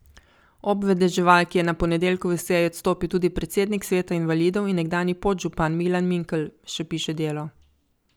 Ob vedeževalki je na ponedeljkovi seji odstopil tudi predsednik sveta invalidov in nekdanji podžupan Milan Mikl, še piše Delo.